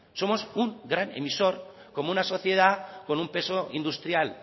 somos un gran emisor como una sociedad con un peso industrial